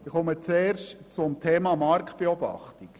Zum Thema Marktbeobachtung: